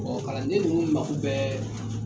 Bon kalande ninnu mako bɛ